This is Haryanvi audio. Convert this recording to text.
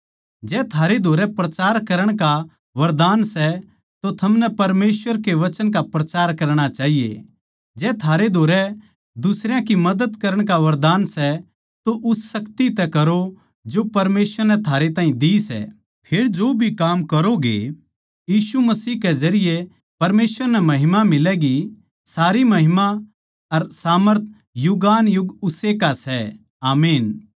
जै थारे धोरै प्रचार करण का वरदान सै तो थमनै परमेसवर के वचन का प्रचार करणा चाहिए जै थारे धोरै दुसरयां की मदद करण का वरदान सै तो उस शक्ति तै करो जो परमेसवर नै थारे ताहीं दे सै फेर जो भी काम करोंगे यीशु मसीह के जरिये परमेसवर नै महिमा मिलैगी सारी महिमा अर सामर्थ युगानुयुग उस्से का सै आमीन